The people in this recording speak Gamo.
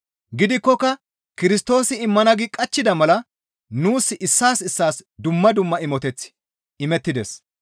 Gidikkoka Kirstoosi immana gi qachchida mala nuus issaas issaas dumma dumma imoteththi imettides.